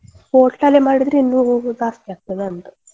Hotel ಅಲ್ಲೇ ಮಾಡಿದ್ರೆ ಇನ್ನು ಸ್ವಲ್ಪ ಜಾಸ್ತಿ ಆಗ್ತದ ಅಂತ.